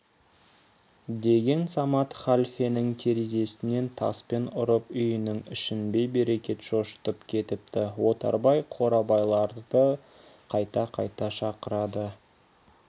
деген самат халфенің терезесінен таспен ұрып үйінің ішін бей-берекет шошытып кетіпті отарбай қорабайларды қайта-қайта шақырады